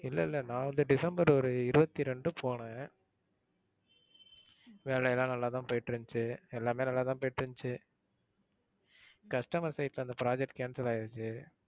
இல்லை இல்லை. நான் வந்து டிசம்பர் ஒரு இருவத்தி இரண்டு போனேன் வேலைலாம் நல்லாதான் போயிட்டிருந்துச்சு, எல்லாமே நல்லாதான் போயிட்டு இருந்துச்சு. customer side ல அந்த project cancel ஆயிடுச்சி.